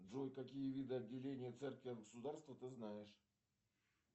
джой какие виды отделения церкви от государства ты знаешь